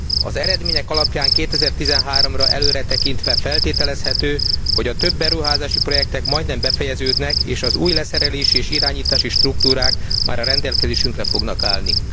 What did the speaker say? Az eredmények alapján 2013 ra előretekintve feltételezhető, hogy a több beruházási projektek majdnem befejeződnek és az új leszerelési és irányítási struktúrák már a rendelkezésünkre fognak állni.